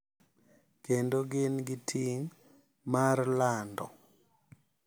Kendo gin gi ting’ mar lando